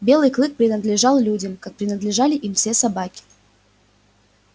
белый клык принадлежал людям как принадлежали им все собаки